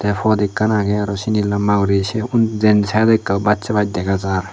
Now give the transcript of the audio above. fod ekkan agey arow sinni lamba guri se unn den saaido ekka baccoi bar dega jar.